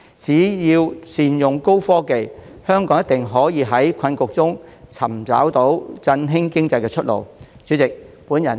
只要善用高新科技，香港一定可以在困局中找到振興經濟的出路。